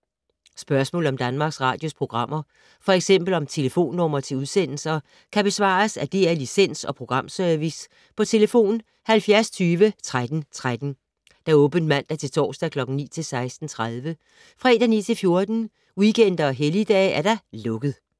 Spørgsmål om Danmarks Radios programmer, f.eks. om telefonnumre til udsendelser, kan besvares af DR Licens- og Programservice: tlf. 70 20 13 13, åbent mandag-torsdag 9.00-16.30, fredag 9.00-14.00, weekender og helligdage: lukket.